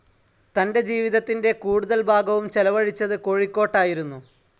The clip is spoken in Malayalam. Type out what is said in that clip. തന്റെ ജീവിതത്തിന്റെ കൂടുതൽ ഭാഗവും ചെലവഴിച്ചത് കോഴിക്കോട്ടായിരുന്നു.